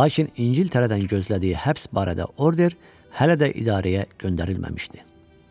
lakin İngiltərədən gözlədiyi həbs barədə order hələ də idarəyə göndərilməmişdi.